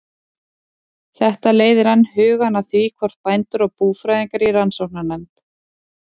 Þetta leiðir enn hugann að því, hvort bændur og búfræðingar í rannsóknarnefnd